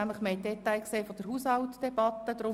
Wir haben die Details zur Haushaltsdebatte gesehen.